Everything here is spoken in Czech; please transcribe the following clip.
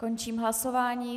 Končím hlasování.